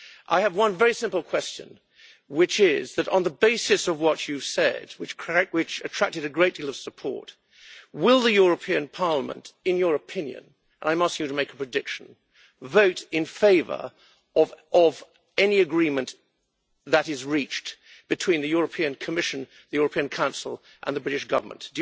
I have one very simple question, which is on the basis of what you said, and which attracted a great deal of support, will the European Parliament in your opinion I am asking you to make a prediction vote in favour of any agreement that is reached between the European Commission, the European Council and the British Government?